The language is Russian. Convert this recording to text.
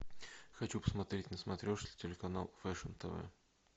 хочу посмотреть на смотрешке телеканал фэшн тв